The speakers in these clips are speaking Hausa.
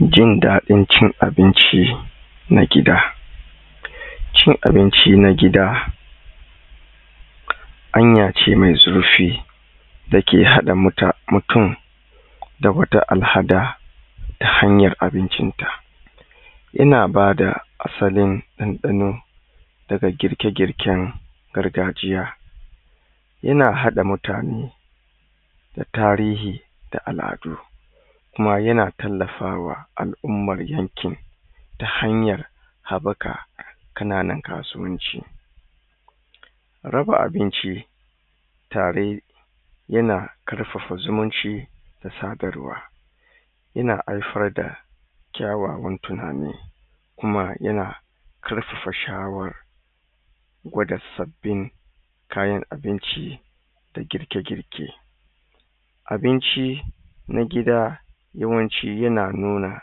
jindaɗin cin abinci na gida cin abinci na gida hanya ce mai zurfi da hada muta mutum da wata alhada ta hanyar abincin ta ina bada asalin ɗanɗano daga girke girken gargajiya yana hada mutane da tarihi da aladu kuma yana tallafa wa al'umman yankin ta hanyar habbaka kananan kasuwanci raba abinci tare yana karfafa zumunci da sadarwa yana haifar da kyawawan tunani kuma yana karfafa shawar gwada sabbin kayan abinci da girke girke abinci na gida yawancin yana nuna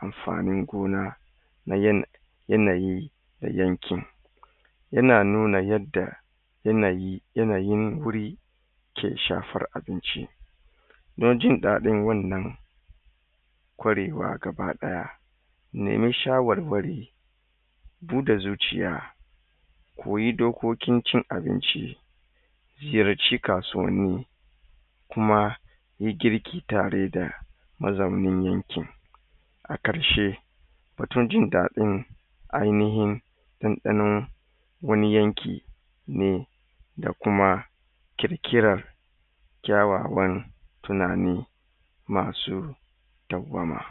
amfanin gona na yanayi na yankin yana nuna yadda yanayi yanayin guri ke shafar abinci don jindaɗin wannan kwarewa gaba daya nema shawarwari dun da zuciya ko yi dokokin cin abinci ziyarci kasuwanni kuma yi girki tare da mazaunin yankin na karshe mutuncin taɗin ainihin ɗanɗanon wani yanki ne da kuma kirkiran kyawawan tunani masu dauwama